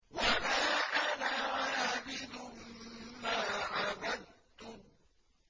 وَلَا أَنَا عَابِدٌ مَّا عَبَدتُّمْ